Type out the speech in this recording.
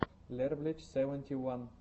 лерблич севенти уан